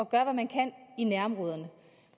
gøre hvad man kan i nærområderne